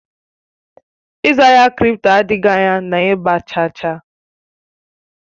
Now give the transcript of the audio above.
Ịzụ ahịa kripto adịghị anya na ịgba chaa chaa